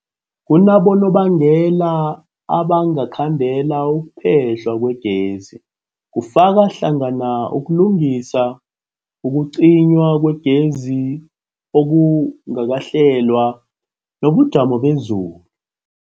Kunabonobangela abangakhandela ukuphehlwa kwegezi, kufaka hlangana ukulungisa, ukucinywa kwegezi okungakahlelwa, nobujamo bezulu.